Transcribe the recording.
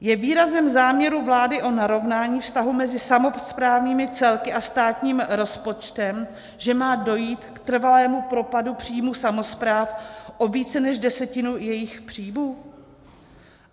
Je výrazem záměru vlády o narovnání vztahu mezi samosprávnými celky a státním rozpočtem, že má dojít k trvalému propadu příjmů samospráv o více než desetinu jejich příjmů?